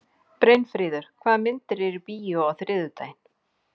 Brynfríður, hvaða myndir eru í bíó á þriðjudaginn?